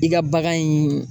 I ka bagan in